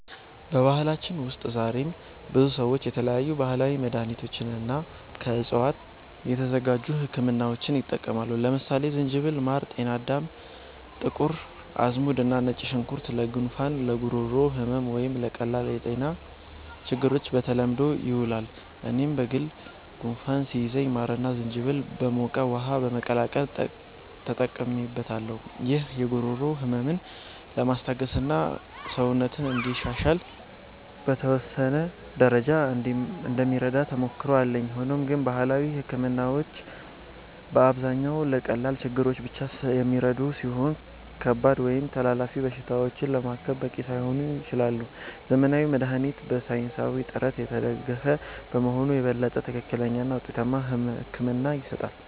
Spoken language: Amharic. በባህላችን ውስጥ ዛሬም ብዙ ሰዎች የተለያዩ ባህላዊ መድሃኒቶችንና ከዕፅዋት የተዘጋጁ ህክምናዎችን ይጠቀማሉ። ለምሳሌ ዝንጅብል፣ ማር፣ ጤናዳም፣ ጥቁር አዝሙድ እና ነጭ ሽንኩርት ለጉንፋን፣ ለጉሮሮ ህመም ወይም ለቀላል የጤና ችግሮች በተለምዶ ይውላሉ። እኔም በግል ጉንፋን ሲይዘኝ ማርና ዝንጅብል በሞቀ ውሃ በመቀላቀል ተጠቅሜበታለሁ። ይህ የጉሮሮ ህመምን ለማስታገስና ሰውነትን እንዲሻሻል በተወሰነ ደረጃ እንደሚረዳ ተሞክሮ አለኝ። ሆኖም ግን ባህላዊ ህክምናዎች በአብዛኛው ለቀላል ችግሮች ብቻ የሚረዱ ሲሆኑ፣ ከባድ ወይም ተላላፊ በሽታዎችን ለማከም በቂ ላይሆኑ ይችላሉ። ዘመናዊ መድሃኒት በሳይንሳዊ ጥናት የተደገፈ በመሆኑ የበለጠ ትክክለኛና ውጤታማ ሕክምና ይሰጣል።